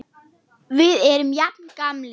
Við erum jafn gamlir.